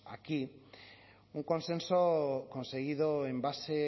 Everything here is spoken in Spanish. aquí un consenso conseguido en base